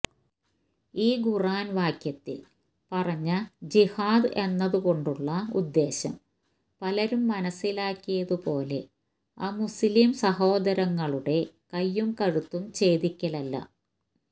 ഈ ഖുര്ആന് വാക്യത്തില് പറഞ്ഞ ജിഹാദ് എന്നതുകൊണ്ടുള്ള ഉദ്ദേശ്യം പലരും മനസ്സിലാക്കിയത് പോലെ അമുസ്ലിം സഹോദരങ്ങളുടെ കൈയും കഴുത്തും ഛേദിക്കലല്ല